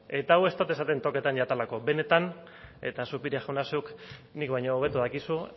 eta hau ez dut esaten tokatzen zaidalako benetan eta zupiria jauna zuk nik baino hobeto dakizu